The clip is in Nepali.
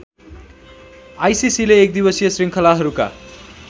आइसीसीले एकदिवसीय श्रृङ्खलाहरूका